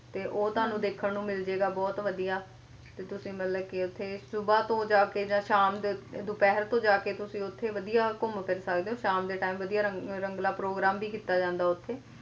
ਤੇ ਉਹ ਤੁਹਾਨੂੰ ਦੇਖਣ ਨੂੰ ਮਿਲਜੇਗਾ ਬਹੁਤ ਵਧੀਆ ਤੇ ਤੁਸੀ ਮਤਲਬ ਕੀ ਉੱਥੇ ਸੁਬਾਹ ਤੋਂ ਜਾਕੇ ਜਾਂ ਸ਼ਾਮ ਦੇ ਦੁਪਹਿਰ ਤੋਂ ਜਾਕੇ ਤੁਸੀ ਉੱਥੇ ਵਧੀਆ ਘੁੰਮ ਫਿਰ ਸਕਦੇ ਹੋ, ਸ਼ਾਮ ਦੇ tme ਵਧੀਆ ਰੰਗ ਰੰਗਲਾ programme ਵੀ ਕੀਤਾ ਜਾਂਦਾ ਉੱਥੇ